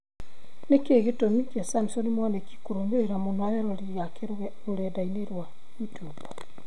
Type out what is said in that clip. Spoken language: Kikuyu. Nĩkĩĩ gĩtũmi kĩa Samson Mwanĩki kũrũmĩrĩra mũno eroreri ake rũrenda-inĩ rwa youtube